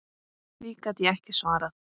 Því gat ég ekki svarað.